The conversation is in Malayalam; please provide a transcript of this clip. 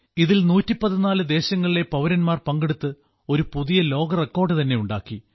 ഇതിൽ 114 രാജ്യങ്ങളിലെ പൌരന്മാർ പങ്കെടുത്ത് ഒരു പുതിയ ലോക റെക്കോർഡ് തന്നെ ഉണ്ടാക്കി